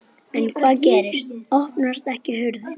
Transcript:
En hvað gerist. opnast ekki hurðin!